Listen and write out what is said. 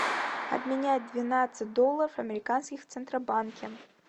обменять двенадцать долларов американских в центробанке